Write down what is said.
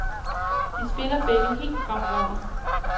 De spiller begge helt fremragende.